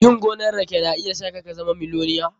Yin gonan rake na iya sa ka zama miloniya.